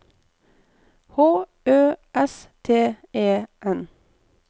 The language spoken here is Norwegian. H Ø S T E N